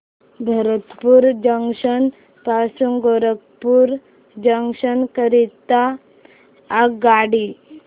Bharatpur junction पासून Gorakhpur junction करीता आगगाडी